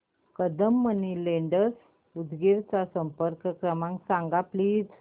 Kadam money lenders Udgir चा संपर्क क्रमांक सांग प्लीज